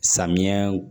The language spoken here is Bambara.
Samiya